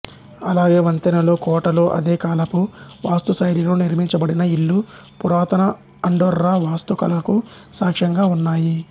అలాగే వంతెనలు కోటలు అదే కాలపు వాస్తుశైలిలో నిర్మించబడిన ఇళ్ళు పురాతన అండొర్రా వాస్తుకళకు సాక్ష్యంగా ఉన్నాయి